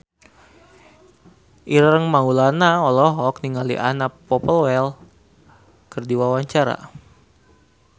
Ireng Maulana olohok ningali Anna Popplewell keur diwawancara